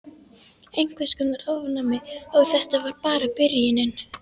Einhvers konar ofnæmi. Og þetta var bara byrjunin.